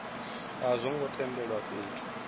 a zwo ngo tendelwa fhethu